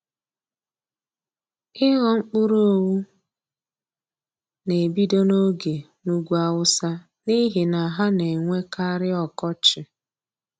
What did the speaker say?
Ị ghọ mkpụrụ owu na-ebido n'oge n'ugwu awụsa n'ihi na ha na-enwe karị ọkọchi.